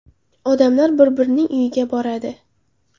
Odamlar bir-birining uyiga boradi.